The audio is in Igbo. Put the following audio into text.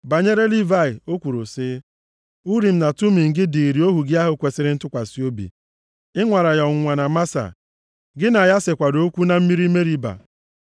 Banyere Livayị o kwuru sị, “Urim na Tumim gị dịịrị ohu gị ahụ kwesiri ntụkwasị obi. Ị nwara ya ọnwụnwa na Masa, gị na ya sekwara okwu na mmiri Meriba.